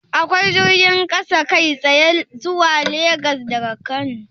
Akwai jirgin kasa kai tsaye zuwa Legas daga Kano?